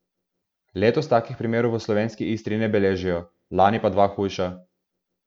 Letos takih primerov v Slovenski Istri ne beležijo, lani pa dva hujša.